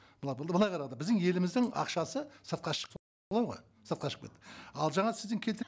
біздің еліміздің ақшасы сыртқа ғой сыртқа шығып кетті ал жаңа сіздің